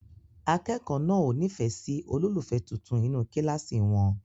Akẹ́kọ̀ọ́ náà ò nífẹ̀ẹ́ sí olólùfẹ́ tuntun inú kíláàsì wọn.